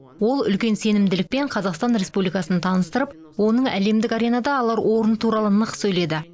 ол үлкен сенімділікпен қазақстан республикасын таныстырып оның әлемдік аренада алар орны туралы нық сөйледі